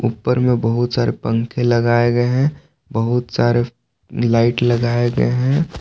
ऊपर में बहुत सारे पंखे लगाए गए हैं बहुत सारे लाइट लगाए गए हैं।